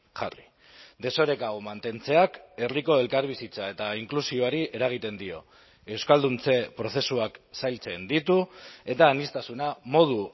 jarri desoreka hau mantentzeak herriko elkarbizitza eta inklusioari eragiten dio euskalduntze prozesuak zailtzen ditu eta aniztasuna modu